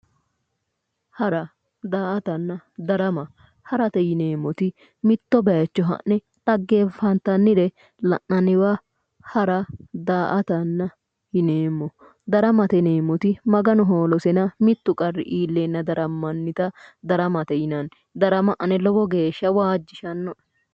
hara daa''atanna darama harate yineemmoti mitto bayicho ha'ne dhaggeenfatannire la'nanniwa hara daa''ata yineemmo daramate yineemmoti kayinni maganu hoolosena mittu qarri iilleenna darammannita daramate yinanni darama ane lowonta waajjishannoe.